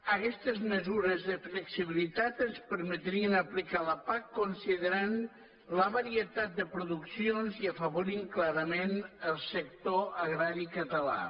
aguestes mesures de flexibilitat ens permetrien aplicar la pac considerant la varietat de produccions i afavorint clarament el sector agrari català